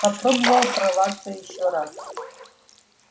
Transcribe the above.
попробовал прорваться ещё раз